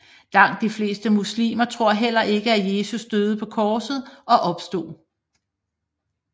Langt de fleste muslimer tror heller ikke at Jesus døde på korset og opstod